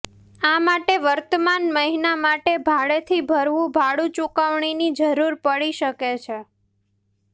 આ માટે વર્તમાન મહિના માટે ભાડેથી ભરવું ભાડું ચૂકવણીની જરૂર પડી શકે છે